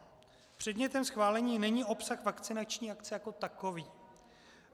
Předmětem schválení není obsah vakcinační akce jako takový.